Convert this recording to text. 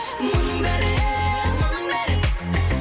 мұның бәрі мұның бәрі